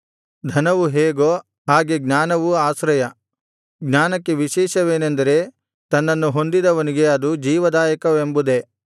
ಧನವು ಹೇಗೊ ಹಾಗೆ ಜ್ಞಾನವು ಆಶ್ರಯ ಜ್ಞಾನಕ್ಕೆ ವಿಶೇಷವೇನೆಂದರೆ ತನ್ನನ್ನು ಹೊಂದಿದವನಿಗೆ ಅದು ಜೀವದಾಯಕವೆಂಬುದೇ